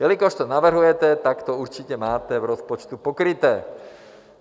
Jelikož to navrhujete, tak to určitě máte v rozpočtu pokryté.